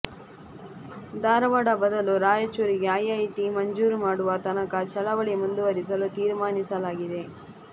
ಧಾರವಾಡ ಬದಲು ರಾಯಚೂರಿಗೆ ಐಐಟಿ ಮಂಜೂರು ಮಾಡುವ ತನಕ ಚಳವಳಿ ಮುಂದುವರಿಸಲು ತೀರ್ಮಾನಿಸಲಾಗಿದೆ